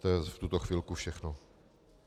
To je v tuto chvilku všechno.